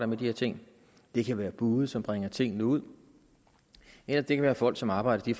med de her ting det kan være bude som bringer tingene ud eller det kan være folk som arbejder i